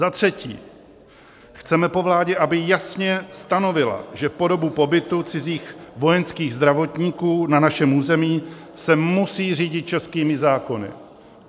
Za třetí, chceme po vládě, aby jasně stanovila, že po dobu pobytu cizích vojenských zdravotníků na našem území se musí řídit českými zákony.